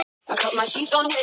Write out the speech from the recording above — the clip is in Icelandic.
Í ansi mörg ár.